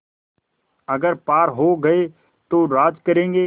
अगर पार हो गये तो राज करेंगे